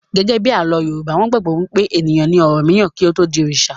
Gẹ́gẹ́bí àlọ́ Yorùbá, wọn gbàgbọ́ wí pé ènìyàn ni ọ̀rànmíyàn kí ó tó di oòṣà